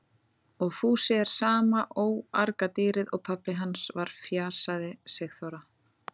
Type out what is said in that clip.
Og Fúsi er sama óargadýrið og pabbi hans var fjasaði Sigþóra.